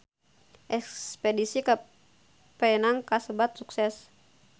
Espedisi ka Penang kasebat sukses